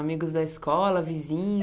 Amigos da escola,